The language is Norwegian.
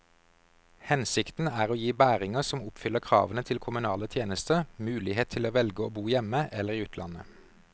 Hensikten er å gi bæringer som oppfyller kravene til kommunale tjenester, mulighet til å velge å bo hjemme eller i utlandet.